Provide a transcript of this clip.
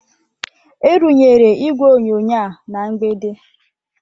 A runyere igwe onyonyo a na mgbidi.